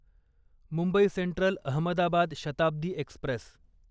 Mumbai Central Ahmedabad Shatabdi Express